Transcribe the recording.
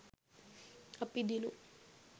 අපි දිනුම්.